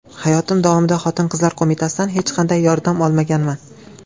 Hayotim davomida Xotin-qizlar qo‘mitasidan hech qanday yordam olmaganman .